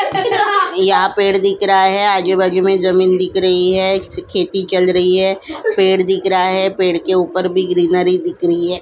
यहां पेड़ दिख रहा है आजू-बाजू में जमीन दिख रही है खेती चल रही है पेड़ दिख रहा है पेड़ के ऊपर भी ग्रीनरी दिख रही है।